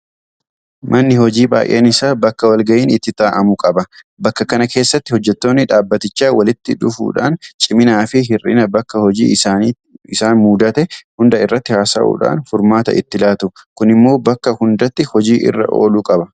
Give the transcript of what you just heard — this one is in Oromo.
Manni hojii baay'een isaa bakka walgayiin itti taa'amu qaba. Bakka kana keessatti hojjettoonni dhaabbatichaa walitti dhufuudhaan ciminaafi hir'ina bakka hojii isaaniitti isaan mudatan hunda irratti haasa'uudhaan furmaata itti laatu. Kun immoo bakka hundatti hojii irra ooluu qaba.